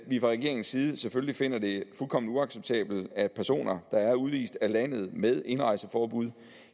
vi fra regeringens side selvfølgelig finder det fuldkommen uacceptabelt at personer der er udvist af landet med indrejseforbud